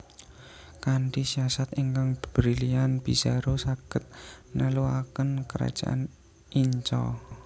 Kanthi siasat ingkang brilian Pizarro saged nelukaken Kerajaan Inca